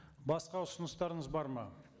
басқа ұсыныстарыңыз бар ма